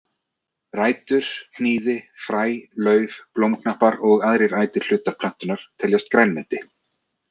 Rætur, hnýði, fræ, lauf, blómknappar og aðrir ætir hlutar plöntunnar teljast grænmeti.